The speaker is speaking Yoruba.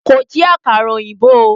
Kò jí àkàrà ọ̀yìnbó o.